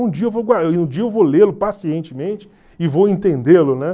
Um dia eu vou um dia eu vou lê-lo pacientemente e vou entendê-lo, né?